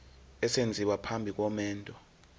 esenziwa phambi komendo